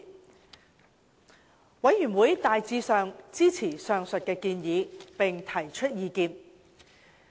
事務委員會大致上支持上述的建議，並提出意見。